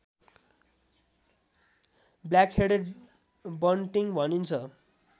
black-headed bunting भनिन्छ